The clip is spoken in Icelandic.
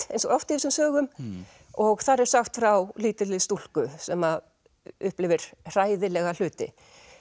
eins og oft í þessum sögum og þar er sagt frá lítilli stúlku sem upplifir hræðilega hluti